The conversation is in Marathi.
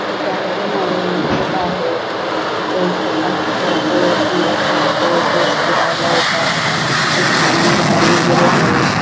गार्डन आहे रोड आहे इथे सकाळचं संध्याकाळचं लोक फिरला येतात इथे छान झाडी आहेत|